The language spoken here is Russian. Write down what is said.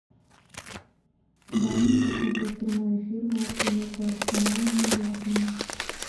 дай мне посмотреть прямой эфир матча между арсеналом и бернли